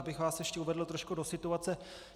Abych vás ještě uvedl trošku do situace.